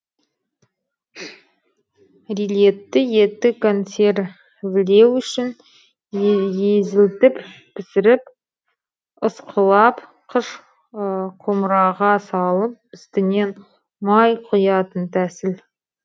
рилетты етті консервілеу үшін езілтіп пісіріп ысқылап қыш құмыраға салып үстінен май құятын тәсіл